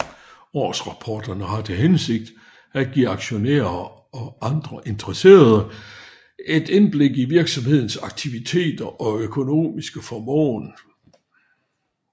Årsrapporterne har til hensigt at give aktionærer og andre interesserede et indblik i virksomhedens aktiviteter og økonomiske formåen